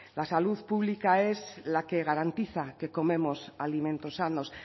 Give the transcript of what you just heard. la salud pública es la que garantiza que comemos alimentos sanos